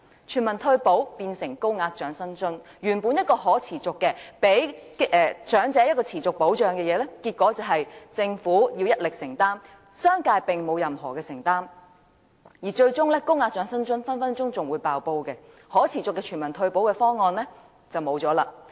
全民退休保障變成高額長者生活津貼，原本提供予長者的持續保障，結果變成政府一力承擔，商界並沒有任何承擔，而最終高額長者生活津貼隨時會"爆煲"，可持續的全民退休保障方案就沒有了。